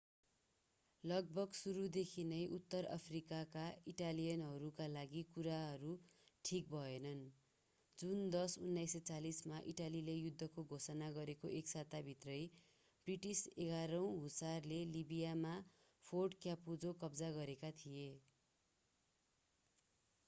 लगभग सुरुदेखि नै उत्तर अफ्रिकाका इटालियनहरूका लागि कुराहरू ठीक भएनन् जुन 10 1940 मा इटालीले युद्धको घोषणा गरेको एक साताभित्रै ब्रिटिस 11 औँ हुसारले लिबियामा फोर्ट क्यापुजो कब्जा गरेका थिए